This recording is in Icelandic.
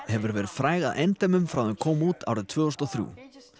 hefur verið fræg að endemum frá því að kom út árið tvö þúsund og þrjú